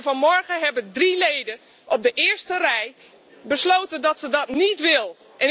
Vanmorgen hebben drie leden op de eerste rij besloten dat ze dat niet willen.